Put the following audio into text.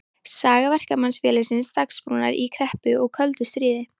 Saga Verkamannafélagsins Dagsbrúnar í kreppu og köldu stríði.